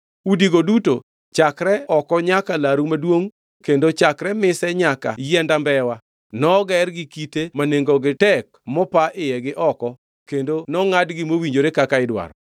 Udigo duto chakre oko nyaka laru maduongʼ kendo chakre mise nyaka yiendambewa noger gi kite ma nengogi tek mopa iye gi oko kendo nongʼadgi mowinjore kaka idwaro.